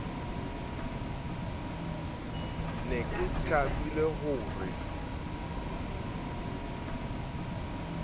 ne ke thabile ho re